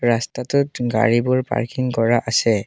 ৰাস্তাটোত গাড়ীবোৰ পাৰ্কিং কৰা আছে।